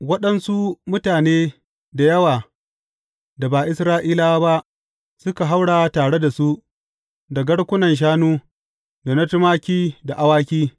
Waɗansu mutane da yawa da ba Isra’ilawa ba, suka haura tare da su, da garkunan shanu, da na tumaki da awaki.